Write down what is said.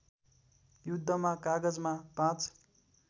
युद्धमा कागजमा ५